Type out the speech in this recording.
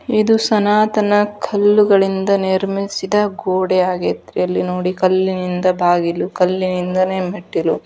ಇದು ಸನಾತನ ಕಲ್ಲುಗಳಿಂದ ನಿರ್ಮಿಸಿದ ಗೋಡೆ ಆಗೇತ್ರಿ ಅಲ್ಲಿ ನೋಡ್ರಿ ಕಲ್ಲಿನಿಂದ ಬಾಗಿಲು ಕಲ್ಲಿನಿಂದಲ್ಲೆ ಮೆಟ್ಟಿಲು.